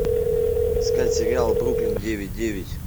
искать сериал бруклин девять девять